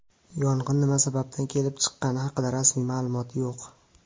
Yong‘in nima sababdan kelib chiqqani haqida rasmiy ma’lumot yo‘q.